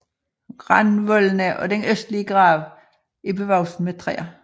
Randvoldene og den østlige grav er bevokset med træer